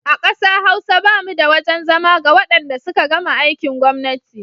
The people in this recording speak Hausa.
A ƙasa Hausa ba mu da wajen zama ga wadanda suka gama aikin gwamnati.